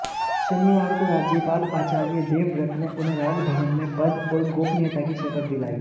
शनिवार काे राज्यपाल आचार्य देवव्रत ने उन्हें राजभवन में पद और गाेपनीयता की शपथ दिलाई